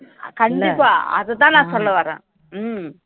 கண்டிப்பா அதை தான் நான் சொல்ல வரேன்